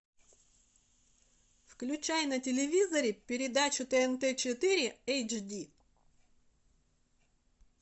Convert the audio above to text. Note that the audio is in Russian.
включай на телевизоре передачу тнт четыре эйч ди